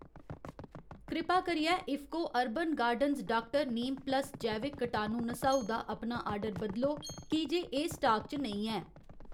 कृपा करियै IFFCO urban gardens doctor Neem plus जैविक कटाणु नसाऊ दा अपना आर्डर बदलो की जे एह् स्टाक च नेईं ऐ